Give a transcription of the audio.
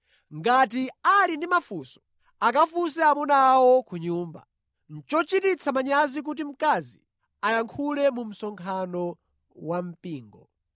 Ngati ali ndi mafunso, akafunse amuna awo ku nyumba. Nʼchochititsa manyazi kuti mkazi ayankhule mu msonkhano wa mpingo.